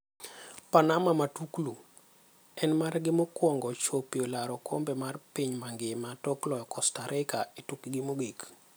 Panama Matuklu: En margi mokwongo chopie laro okombe mar piny mangima tok loyo Costa Rica e tukgi mogik.